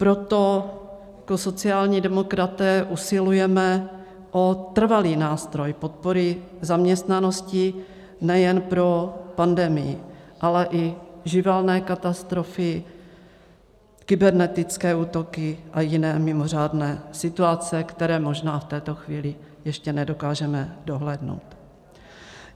Proto jako sociální demokraté usilujeme o trvalý nástroj podpory zaměstnanosti nejen pro pandemii, ale i živelné katastrofy, kybernetické útoky a jiné mimořádné situace, které možná v této chvíli ještě nedokážeme dohlédnout.